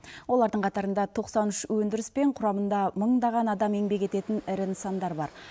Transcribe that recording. олардың қатарында тоқсан үш өндіріспен құрамында мыңдаған адам еңбек ететін ірі нысандар бар